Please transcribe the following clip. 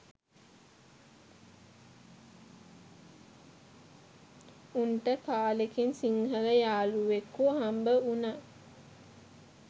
උන්ට කාලෙකින් සිංහල යහලුවෙකු හම්බවුන